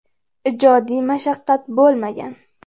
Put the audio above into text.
Ijodiy mashaqqat bo‘lmagan.